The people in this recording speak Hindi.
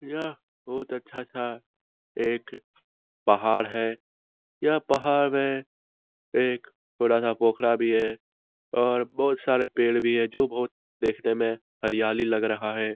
यह बहुत अच्छा सा एक पहाड़ है। यह पहाड़ में एक बड़ा सा पोखड़ा भी है और बोहोत सारे पेड़ भी है। जो बोहोत देखने में हरियाली लग रहा है।